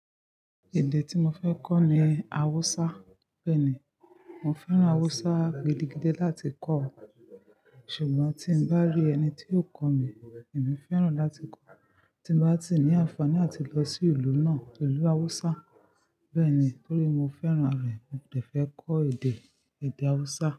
Èdè tí mo fẹ́ kọ́ ni Hausa. Bẹ́ẹ̀ni, mo fẹ́ràn Hausa gidigidi láti kó ọ. Ṣùgbọ́n tí n bá rí ẹni tí yiò kọ́ mi, èmi fẹ́ràn láti kọ́. Tí n bá ti ní àǹfààní áti lọ sí ìlú náà, ìlú Hausa. Bẹ́ẹ̀ni, torí mo fẹ́ràn rẹ̀. Mo dẹ̀ fẹ́ kọ́ èdè, èdè Hausa.